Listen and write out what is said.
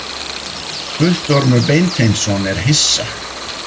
Guttormur Beinteinsson er hissa.